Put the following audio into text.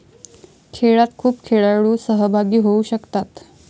खेळात खूप खेळाडू सहभागी होऊ शकतात.